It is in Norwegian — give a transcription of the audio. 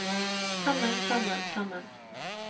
sammen sammen sammen